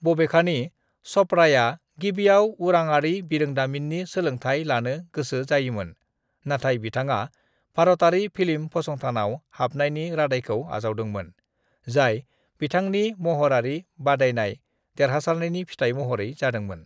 "बबेखानि चपड़ाया गिबिआव उरांआरि बिरोंदामिननि सोलोंथाय लानो गोसो जायोमोन, नाथाय बिथाङा भारतारि फिल्म फसंथानाव हाबनायनि रादायखौ आजावदोंमोन, जाय बिथांनि महरारि बादायनाय देरहासारनायनि फिथाय महरै जादोंमोन ।"